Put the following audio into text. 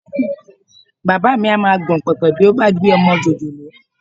Bàbá mi á máa gbọ̀n pẹ̀pẹ̀ bí ó bá gbé ọmọ jòjòló